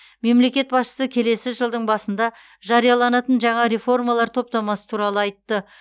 мемлекет басшысы келесі жылдың басында жарияланатын жаңа реформалар топтамасы туралы айтты